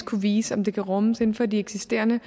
kunne vise om det kan rummes inden for de eksisterende